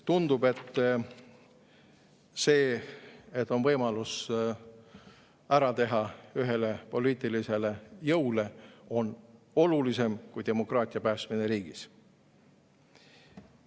Tundub, et see, et on võimalus ära teha ühele poliitilisele jõule, on olulisem kui demokraatia päästmine riigis.